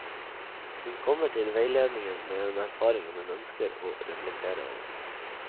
Hun kommer til veiledningen med en erfaring hun ønsker å reflektere over.